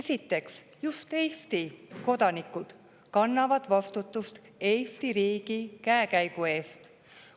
Esiteks, just Eesti kodanikud kannavad vastutust Eesti riigi käekäigu eest.